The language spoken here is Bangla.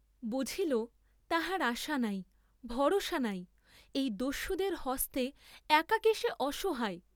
বুঝিল তাহার আশা নাই, ভরসা নাই, এই দস্যুদের হস্তে একাকী সে অসহায়!